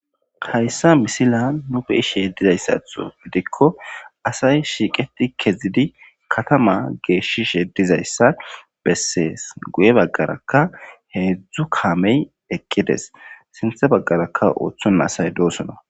hayssa misila nufe ishe dizayssatho gidikko asay shiiqeti kezidi katama geeshishedizayssa bessees guye baggaraka heedzdzu kaamey eqqides sinthe baggarakka ooththon asay doosona